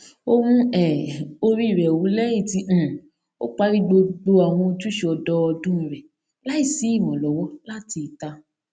ó mú um orí rẹ wú lẹyìn tí um ó parí gbogbo àwọn ojúṣe ọdọọdún rẹ láì sí ìrànlọwọ láti ìta